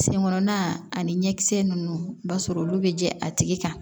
Sen kɔnɔnna ani ɲɛkisɛ ninnu i b'a sɔrɔ olu bɛ jɛ a tigi kan